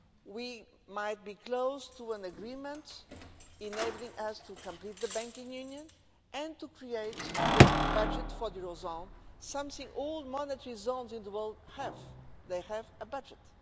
We might be close to an agreement enabling us to complete the banking union and to create the budget for the eurozone, something all monetary zones in the world have they have a budget.